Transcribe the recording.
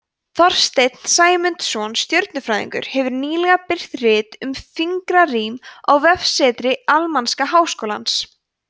þorsteinn sæmundsson stjörnufræðingur hefur nýlega birt rit um fingrarím á vefsetri almanaks háskólans